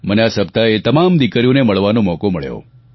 મને આ સપ્તાહે એ તમામ દિકરીઓને મળવાનો મોકો મળ્યો